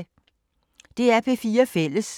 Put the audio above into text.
DR P4 Fælles